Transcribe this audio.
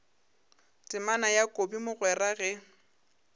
temana ya kobi mogwera ge